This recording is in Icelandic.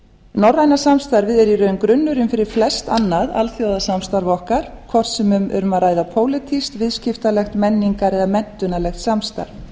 norræna samstarfið er í rauninni grunnurinn fyrir flest annað alþjóðasamstarf okkar hvort sem um er að ræða pólitískt viðskiptalegt menningar eða menntunarlegt samstarf